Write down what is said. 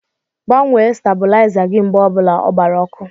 Gbanwee stabuliza gị mgbe obula ọ gbara ọkụ!!!